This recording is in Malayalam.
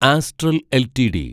astral LTD